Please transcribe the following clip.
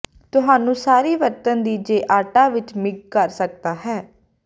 ਤੁਹਾਨੂੰ ਸਾਰੀ ਵਰਤਣ ਦੀ ਜ ਆਟਾ ਵਿੱਚ ਮਿਗ ਕਰ ਸਕਦਾ ਹੈ